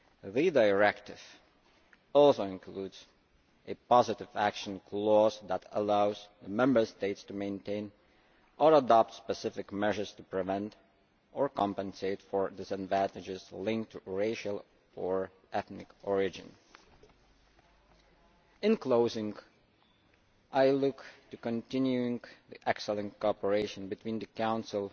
The directive also includes a positive action clause that allows Member States to maintain or adopt specific measures to prevent or compensate for disadvantages linked to racial or ethnic origin. I look forward to continuing the excellent cooperation between the Council,